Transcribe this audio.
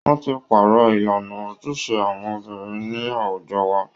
Wọ́n ti pàrọ̀ ìlànà ojúṣe àwọn obìnrin ní àwùjọ wa